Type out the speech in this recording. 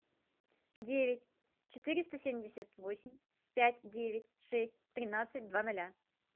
девять четыреста семьдесят восемь пять девять шесть тринадцать два ноля